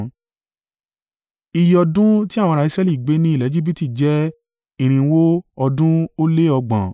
Iye ọdún ti àwọn ará Israẹli gbé ní ilẹ̀ Ejibiti jẹ́ irinwó ọdún ó lé ọgbọ̀n (430).